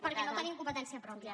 perquè no tenim competència pròpia